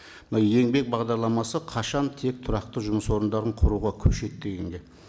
мынау еңбек бағдарламасы қашан тек тұрақты жұмыс орындарын құруға көшеді дегенге